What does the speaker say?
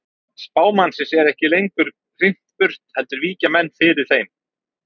Spámannsins er ekki lengur hrint burt heldur víkja menn fyrir þeim.